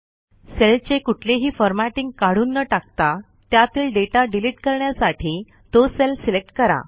सेलचे कुठलेही फॉरमॅटिंग काढून न टाकता त्यातील डेटा डिलिट करण्यासाठी तो सेल सिलेक्ट करा